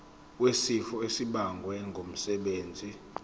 wesifo esibagwe ngumsebenzi